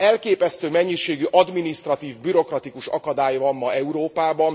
Elképesztő mennyiségű adminisztratív, bürokratikus akadály van ma Európában.